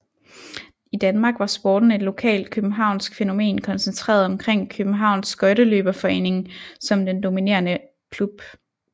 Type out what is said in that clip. I Danmark var sporten et lokalt københavnsk fænomen koncentreret omkring Kjøbenhavns Skøjteløberforening som den dominerende klub